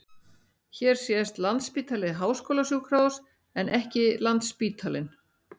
Hér sést Landspítali- háskólasjúkrahús en ekki Landsspítalinn.